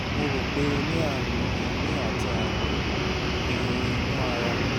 mo rò pé ó ní àrùn èémí àti àrùn ìhò inú ara